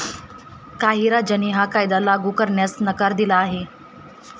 काही राज्यांनी हा कायदा लागू करण्यास नकार दिला आहे.